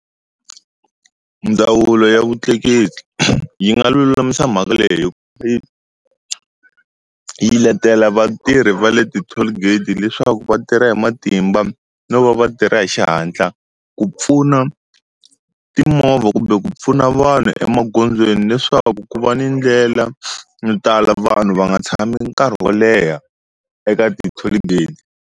Ndzawulo ya vutleketli yi nga lulamisa mhaka leyi hi yi letela vatirhi va le ti-tollgate leswaku va tirha hi matimba no va va tirha hi xihatla ku pfuna timovha kumbe ku pfuna vanhu emagondzweni leswaku ku va ni ndlela yo tala vanhu va nga tshami nkarhi wo leha eka ti-tollgate.